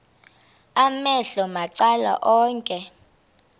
amehlo macala onke